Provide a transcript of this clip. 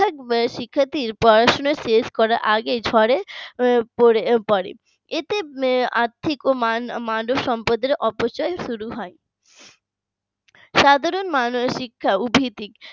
এক শিক্ষার্থীর পড়াশোনা শেষ হওয়ার আগে শুরু হয় এতে আত্মিক ও মানবসম্পদের অপচয়ের শুরু হয়। সাধারণ মানুষ ইচ্ছা ও ভিত্তিক